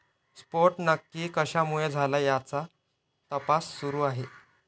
स्फोट नक्की कशामुळे झाला, याचा तपास सुरू आहे.